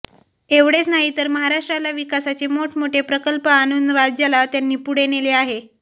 एवढेच नाही तर महाराष्ट्राला विकासाचे मोठ मोठे प्रकल्प आणून राज्याला त्यांनी पुढे नेले आहे